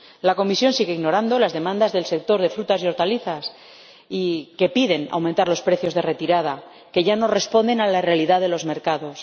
La Comisión sigue ignorando las demandas del sector de las frutas y hortalizas, que pide un aumento de los precios de retirada, que ya no responden a la realidad de los mercados.